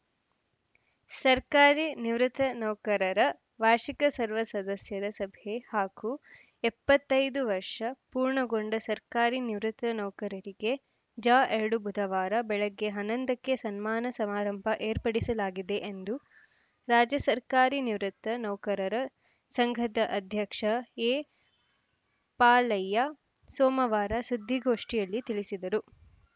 ಸರ್ಕಾರಿ ನಿವೃತ್ತ ನೌಕರರ ವಾರ್ಷಿಕ ಸರ್ವ ಸದಸ್ಯರ ಸಭೆ ಹಾಗೂ ಎಪ್ಪತ್ತ್ ಐದು ವರ್ಷ ಪೂರ್ಣಗೊಂಡ ಸರ್ಕಾರಿ ನಿವೃತ್ತ ನೌಕರರಿಗೆ ಜ ಎರಡು ಬುಧವಾರ ಬೆಳಗ್ಗೆ ಹನ್ನೊಂದಕ್ಕೆ ಸನ್ಮಾನ ಸಮಾರಂಭ ಏರ್ಪಡಿಸಲಾಗಿದೆ ಎಂದು ರಾಜ್ಯ ಸರ್ಕಾರಿ ನಿವೃತ್ತ ನೌಕರರ ಸಂಘದ ಅಧ್ಯಕ್ಷ ಎಪಾಲಯ್ಯ ಸೋಮವಾರ ಸುದ್ದಿಗೋಷ್ಠಿಯಲ್ಲಿ ತಿಳಿಸಿದರು